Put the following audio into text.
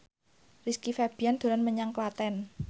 Rizky Febian dolan menyang Klaten